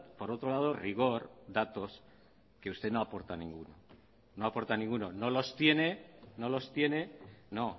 por otro lado rigor datos que usted no aporta ninguno no aporta ninguno no los tiene no los tiene no